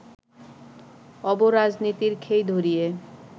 অব-রাজনীতির খেই ধরিয়ে